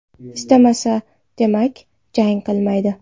Istamasa, demak, jang qilmaydi.